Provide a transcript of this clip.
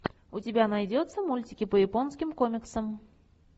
у тебя найдется мультики по японским комиксам